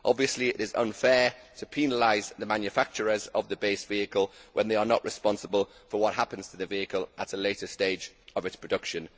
Obviously, it is unfair to penalise the manufacturers of the base vehicle when they are not responsible for what happens to the vehicle at a later stage of its production.